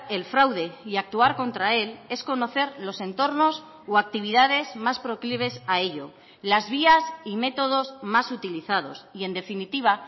el fraude y actuar contra él es conocer los entornos o actividades más proclives a ello las vías y métodos más utilizados y en definitiva